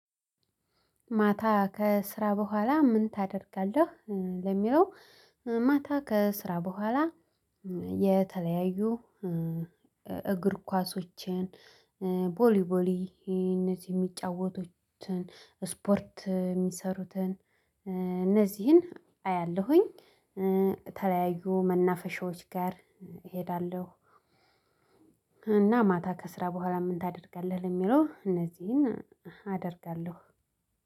ማታ ከስራ በኋላ ምን ታደርጋለህ? ለሚለው ማታ ከስራ በኋላ የተለያዩ እግር ኳሶችን ቦሊ ቦሊ እነዚህ የሚጫወቱትን ስፖርት የሚሰሩትን እነዚህን አያለሁኝ ተለያዩ መናፈሻዎች ጋር እሄዳለሁ። እና ማታ ከስራ በኋላ ምን ታደርጋለህ? ለሚለው እነዚህን አደርጋለሁ።